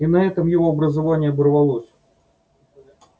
и на этом его образование оборвалось